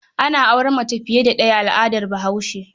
Ana auren mace fiye da ɗaya a al'adar Bahaushe.